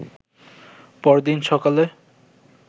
পরদিন সকালে